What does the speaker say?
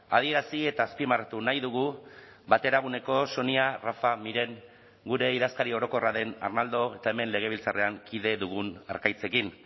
adierazi eta azpimarratu nahi dugu bateraguneko sonia rafa miren gure idazkari orokorra den arnaldo eta hemen legebiltzarrean kide dugun arkaitzekin